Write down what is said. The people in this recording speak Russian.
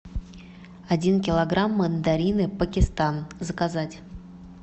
один килограмм мандарины пакистан заказать